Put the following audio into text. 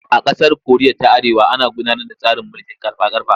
A ƙasar Koriya ta Arewa ana gudanar da tsarin mulkin ƙarfa-ƙarfa.